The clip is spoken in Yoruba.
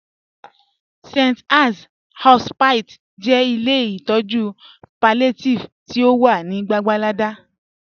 St. Ann's Hospice jẹ ilẹ̀ itọju palliative ti o wà ni Gwàgwàlada